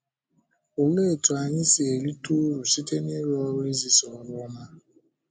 Òlee otú anyị si erite ùrụ̀ site n’ịrụ́ ọ́rụ izisa ọ́rụ ọma?